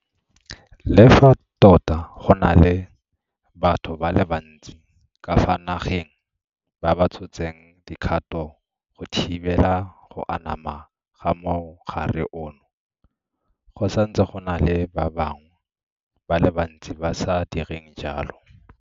Le fa tota go na le batho ba le bantsi ka fa nageng ba ba tshotseng dikgato go thibela go anama ga mogare ono, go santse go na le ba bangwe ba le bantsi ba sa direng jalo.